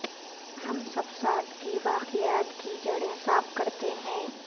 ہم سبسات کی باقیات کی جڑیں صاف کرتے ہیں